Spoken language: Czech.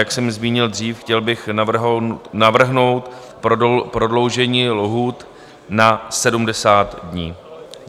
Jak jsem zmínil dřív, chtěl bych navrhnout prodloužení lhůt na 70 dní.